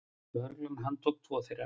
Lögregla handtók tvo þeirra.